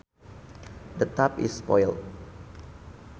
The tap is spoiled